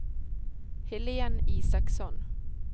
Helén Isaksson